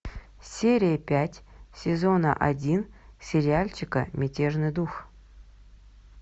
серия пять сезона один сериальчика мятежный дух